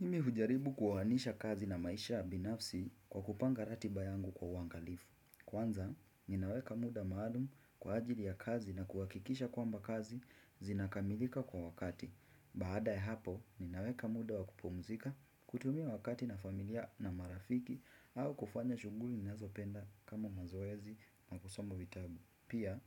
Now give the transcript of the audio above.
Mimi hujaribu kuhanisha kazi na maisha ya binafsi kwa kupanga ratiba yangu kwa wangalifu. Kwanza, ninaweka muda maalum kwa ajili ya kazi na kuwakikisha kwamba kazi zinakamilika kwa wakati. Baada ya hapo, ninaweka muda wakupumzika kutumia wakati na familia na marafiki au kufanya shuguli ninazo penda kama mazoezi na kusoma vitabu. Pia